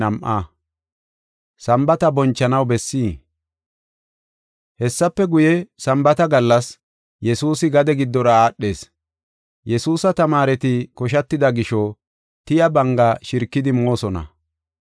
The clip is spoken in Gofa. Hessafe guye, Sambaata gallas, Yesuusi gade giddora aadhees. Yesuusa tamaareti koshatida gisho tiya banga shirikidi moosona.